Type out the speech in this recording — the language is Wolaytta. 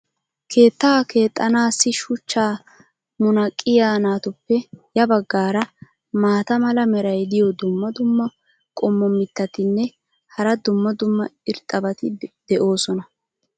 keettaa keexxanaassi shuchchaa munaqqiyaa naatuppe ya bagaara maata mala meray diyo dumma dumma qommo mitattinne hara dumma dumma irxxabati de'oosona.